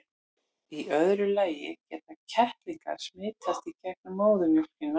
í öðru lagi geta kettlingar smitast í gegnum móðurmjólkina